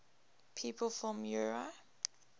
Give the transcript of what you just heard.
people from eure